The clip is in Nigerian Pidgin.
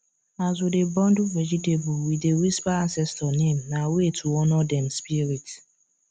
as we dey bundle vegetable we dey whisper ancestor name na way to honor dem spirit